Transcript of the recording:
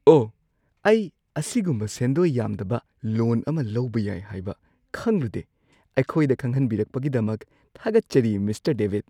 ꯑꯣꯍ! ꯑꯩ ꯑꯁꯤꯒꯨꯝꯕ ꯁꯦꯟꯗꯣꯏ ꯌꯥꯝꯗꯕ ꯂꯣꯟ ꯑꯃ ꯂꯧꯕ ꯌꯥꯏ ꯍꯥꯏꯕ ꯈꯪꯂꯨꯗꯦ꯫ ꯑꯩꯈꯣꯢꯗ ꯈꯪꯍꯟꯕꯤꯔꯛꯄꯒꯤꯗꯃꯛ ꯊꯥꯒꯠꯆꯔꯤ, ꯃꯤꯁꯇꯔ ꯗꯦꯕꯤꯗ꯫